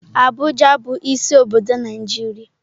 Abuja bu isi obodo Naijiria.